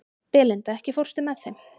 Belinda, ekki fórstu með þeim?